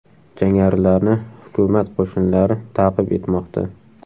Jangarilarni hukumat qo‘shinlari ta’qib etmoqda.